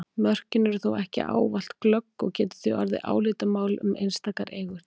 Mörkin eru þó ekki ávallt glögg og getur því orðið álitamál um einstakar eignir.